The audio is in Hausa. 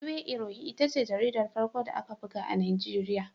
Iwe Irohin ita ce jaridar farko da aka buga a Najeriya.